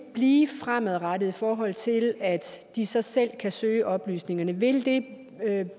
blive fremadrettet i forhold til at de så selv kan søge oplysninger vil det